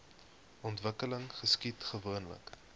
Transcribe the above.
ontwikkeling geskied gewoonlik